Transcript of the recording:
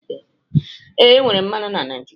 Ee, enwere mmanụ na Naijiria